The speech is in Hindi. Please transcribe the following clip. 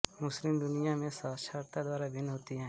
मुस्लिम दुनिया में साक्षरता दर भिन्न होती है